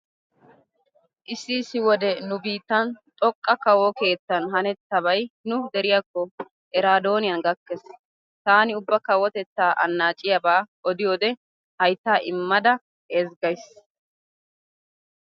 Issi issi wode nu biittan xoqqa kawo keettan hanettabay nu deriyakko eraadooniyan gakkees. Taani ubba kowotettaa annaaciyaba odiyode hayttaa immada ezggays.